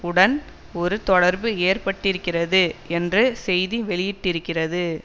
வுடன் ஒரு தொடர்பு ஏற்பட்டிருக்கிறது என்று செய்தி வெளியிட்டிருக்கிறது